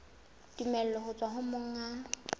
tumello ho tswa ho monga